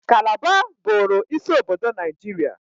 Kalaba bụụrụ isi obodo Naijiria.